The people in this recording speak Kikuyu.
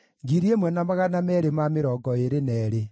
Andũ a Bethilehemu maarĩ 123,